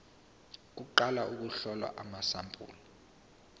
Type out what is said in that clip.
kuqala ukuhlolwa kwamasampuli